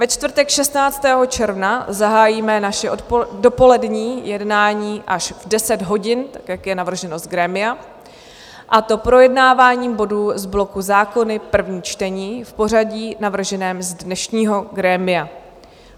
Ve čtvrtek 16. června zahájíme naše dopolední jednání až v 10 hodin tak, jak je navrženo z grémia, a to projednáváním bodů z bloku Zákony - první čtení v pořadí navrženém z dnešního grémia.